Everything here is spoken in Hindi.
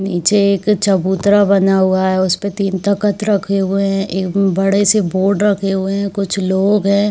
नीचे |एक चबूतरा बना हुआ है उसमे तीन तखत रखे हुए है एक बड़े से बोर्ड रखे हुए कुछ लोग है।